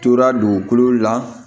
Tora dugukolo la